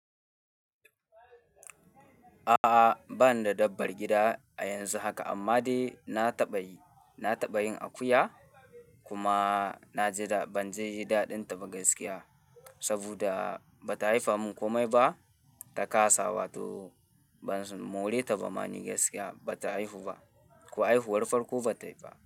A'a, ba ni da dabbar gida a yanzu haka amma dai na taɓa yi, na taɓa yin akuya kuma na ji da ban ji daɗinta ba gaskiya. Saboda ba ta haifa mun komai ba, ta kasa wato ban more ta ba ma ni gaskiya ba ta haihu ba, ko haihuwar farko bataiba.